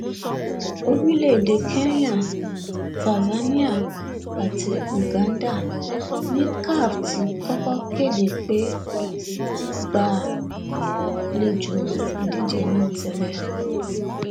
orílẹèdè kenya tanzania àti uganda ni caf ti kọkọ kéde pé wọn á gbàlejò ìdíje náà tẹlẹ